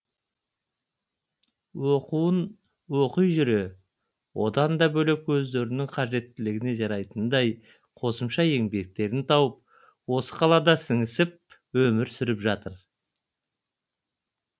оқуын оқи жүре одан да бөлек өздерінің қажеттілігіне жарайтындай қосымша еңбектерін тауып осы қалада сіңісіп өмір сүріп жатыр